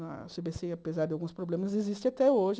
Na cê bê cê, apesar de alguns problemas, existe até hoje.